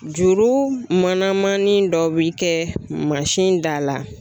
Juru manamannin dɔ bi kɛ da la.